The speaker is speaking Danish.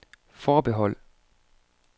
forbehold